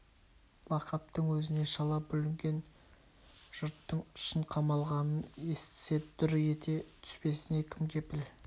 лақаптың өзіне шала бүлінген жұрттың шын қамалғанын естісе дүр ете түспесіне кім кепіл